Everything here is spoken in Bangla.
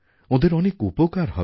ওঁদের অনেক উপকার হবে